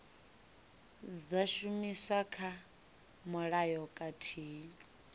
dza shumiswa kha mulayo khathihi